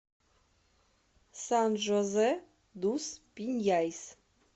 сан жозе дус пиньяйс